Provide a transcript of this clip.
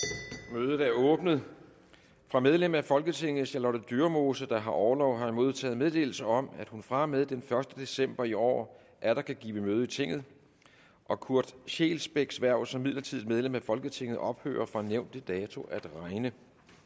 mødet er åbnet fra medlem af folketinget charlotte dyremose der har orlov har jeg modtaget meddelelse om at hun fra og med den første december i år atter kan give møde i tinget og kurt scheelsbecks hverv som midlertidigt medlem af folketinget ophører fra nævnte dato at regne